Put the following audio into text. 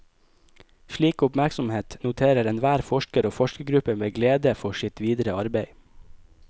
Slik oppmerksomhet noterer enhver forsker og forskergruppe med glede for sitt videre arbeide.